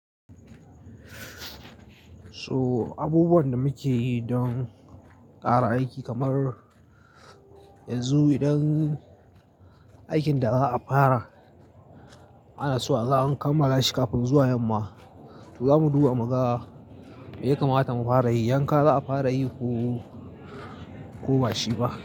So abubuwan da muke yi don ƙara aiki kamar yanzu idan aikin da za a fara ana so a kamala shi kafin zuwa yamma to za mu duba mu ga me ya kamata mu fara yi, yanka za a fara yi ko, ko bashi ba.